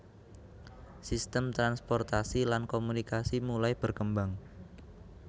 Sistem transportasi lan komunikasi mulai berkembang